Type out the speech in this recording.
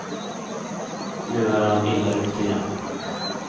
Nu är han illa ute igen.